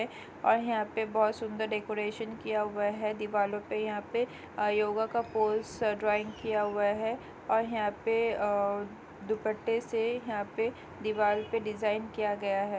और यहाँ पे बहुत सुंदर डेकोरेशन किया हुआ हैं दिवालों पे यहाँ पे अ योगा का पोस्टर ड्राइंग किया हुआ हैं और यहाँ पे अ दुपट्टे से यहाँ पे दीवाल पे डिजाइन किया गया हैं।